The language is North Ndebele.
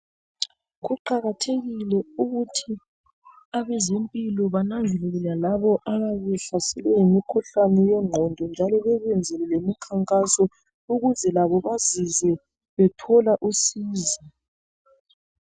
Kuqakathekile ukuthi abezempilo bananzelele lalabo ababe behlaselwe yimikhuhlani yengqondo njalo bebenzele lemikhankaso ukuze labo bazizwe bethola usizo.